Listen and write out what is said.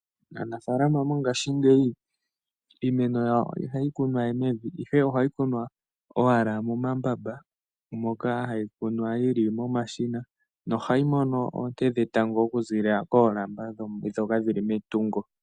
Aanafalama mongashingeyi iimeno yawo ihayi kunwa we mevi, ihe ohayi kunwa owala momambamba moka hayi kunwa yili momashina nohayi mono oonte dhetango oku ziilila koolamba dhoka dhili metungo.